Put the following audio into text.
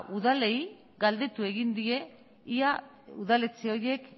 udalei galdetu egin die ia udaletxe horiek